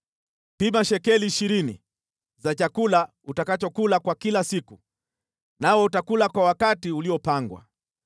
Pima shekeli ishirini za chakula utakachokula kwa kila siku, nawe utakula kwa wakati uliopangwa.